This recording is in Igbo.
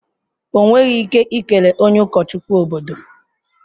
Ọ nweghị ike ikele onye ụkọchukwu obodo.